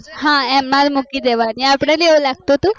હા એમાં મૂકી દેવાય અપડે એવું લાગતું હતું